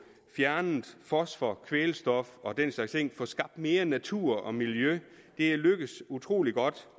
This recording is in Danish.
fjernet fosfor kvælstof og den slags ting og få skabt mere natur og miljø er lykkedes utrolig godt